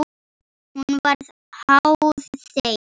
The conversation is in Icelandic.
Hún var háð þeim.